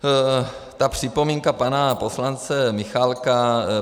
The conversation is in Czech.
Ta připomínka pana poslance Michálka.